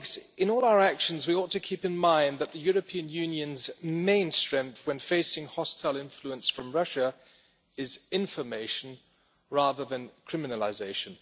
In all our actions we ought to keep in mind that the European Union's main strength when facing hostile influence from Russia is information rather than criminalisation.